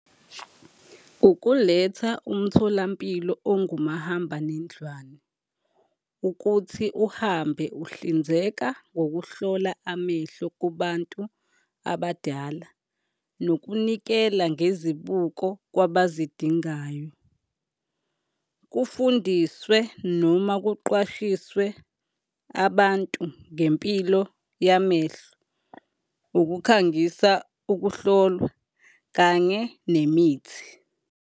Ukuletha umtholampilo ongumahambanendlwana, ukuthi uhambe uhlinzeka ngokuhlola amehlo kubantu abadala, nokunikela ngezibuko kwabazidingayo. Kufundiswe noma kuqwashiswe abantu ngempilo yamehlo, ukukhangisa ukuhlolwa kanye nemithi.